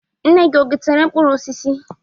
Nne gi o getere mkpụrụ osisi?